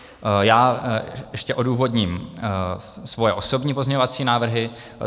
Já ještě odůvodním svoje osobní pozměňovací návrhy.